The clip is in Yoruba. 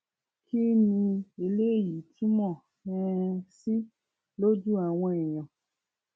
kín ni eléyìí túmọ um sí lójú àwọn èèyàn